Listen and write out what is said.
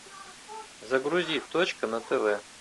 загрузи точка на тв